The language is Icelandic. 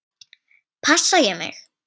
Passa ég mig?